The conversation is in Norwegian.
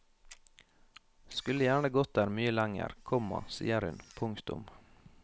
Skulle gjerne gått der mye lenger, komma sier hun. punktum